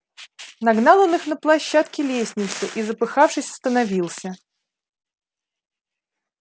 нагнал он их на площадке лестницы и запыхавшись остановился